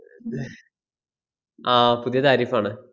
ആഹ് പുതിയ tariff ആണ്.